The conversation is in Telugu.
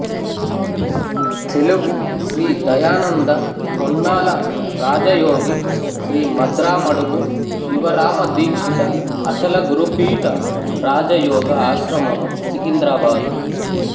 తెలుగు శ్రీ దయానంద పొన్నాల రాజయోగి శ్రీమద్రామడుగు శివరామదీక్షిత అచల గురుపీఠ రాజయోగ ఆశ్రమము సికింద్రాబాదు